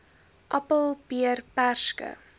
appel peer perske